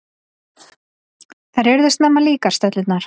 Þær urðu snemma líkar, stöllurnar.